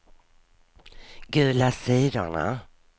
gula sidorna